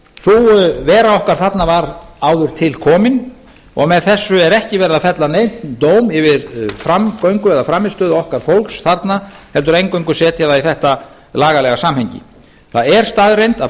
sú vera okkar þarna var áður til komin og með þessu er ekki verið að fella neinn dóm yfir framgöngu eða frammistöðu okkar fólks þarna heldur eingöngu setja það í þetta lagalega samhengi það er staðreynd að